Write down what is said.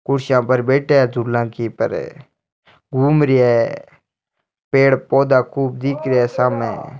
कुर्सियां पर बैठा है झूला की पर घूम रिया है पेड़ पौधा खूब दिख रहिया है सामे।